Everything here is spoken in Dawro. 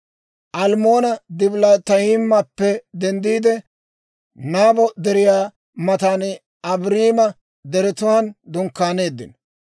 Almmoona-Dibilaatayimappe denddiide, Nabo Deriyaa matan Abaarima deretuwaan dunkkaaneeddino.